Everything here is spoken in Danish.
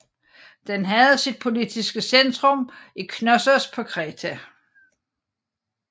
Den havde sit politiske centrum i Knossos på Kreta